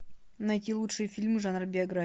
найти лучшие фильмы жанра биография